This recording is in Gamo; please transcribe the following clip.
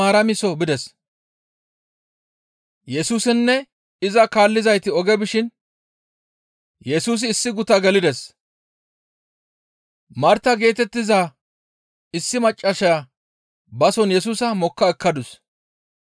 Yesusinne iza kaallizayti oge bishin Yesusi issi guta gelides; Marta geetettiza issi maccassaya bason Yesusa mokka ekkadus.